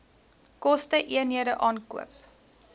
koste eenhede aankoop